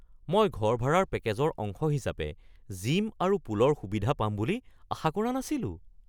মই ঘৰ ভাড়াৰ পেকেজৰ অংশ হিচাপে জিম আৰু পুলৰ সুবিধা পাম বুলি আশা কৰা নাছিলোঁ।